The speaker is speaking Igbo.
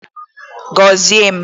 Gozie m!